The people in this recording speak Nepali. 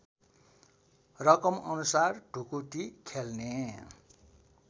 रकमअनुसार ढुकुटी खेल्ने